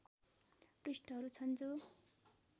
पृष्ठहरू छन् जो